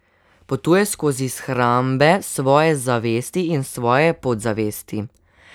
Potuje skozi shrambe svoje zavesti in svoje podzavesti.